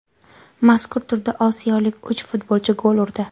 Mazkur turda osiyolik uch futbolchi gol urdi.